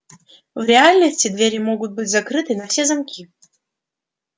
в реальности двери могут быть закрыты на все замки